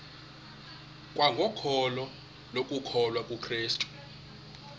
kwangokholo lokukholwa kukrestu